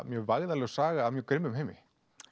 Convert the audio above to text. mjög vægðarlaus saga af mjög grimmilegum heimi